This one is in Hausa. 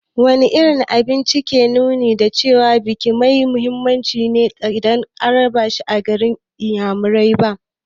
Wane irin abinci ke nuni da cewa biki mai muhimmanci ne idan an raba shi a garin inyamurai?